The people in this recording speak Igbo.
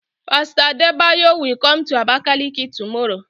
Pastor Adebayo will come to Abakaliki tomorrow.